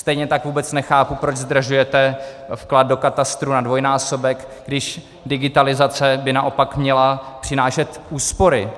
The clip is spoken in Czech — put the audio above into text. Stejně tak vůbec nechápu, proč zdražujete vklad do katastru na dvojnásobek, když digitalizace by naopak měla přinášet úspory